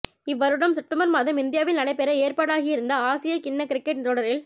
இவ்வருடம் செப்டம்பர் மாதம் இந்தியாவில் நடைபெற ஏற்பாடாகியிருந்த ஆசிய கிண்ண கிரிக்கெட் தொடரில்